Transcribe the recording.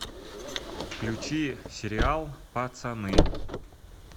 включи сериал пацаны